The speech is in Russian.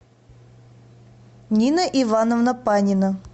нина ивановна панина